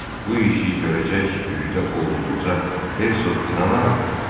Bu işi görəcək gücdə olduğunuza Hersoq inanarmı?